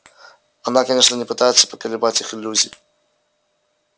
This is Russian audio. она конечно не пытается поколебать их иллюзий